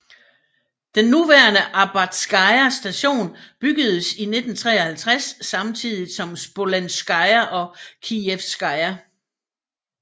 Den nuværende Arbatskaja station bygedes i 1953 samtidigt som Smolenskaja og Kijevskaja